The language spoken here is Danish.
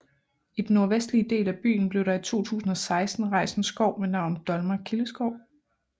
I den nordvestlige del af byen blev der i 2016 rejst en skov ved navn Dolmer Kildeskov